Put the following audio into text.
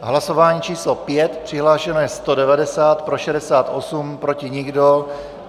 Hlasování číslo 5, přihlášeno je 190, pro 68, proti nikdo.